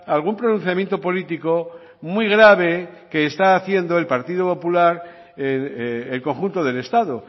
algún pronunciamiento político muy grave que está haciendo el partido popular el conjunto del estado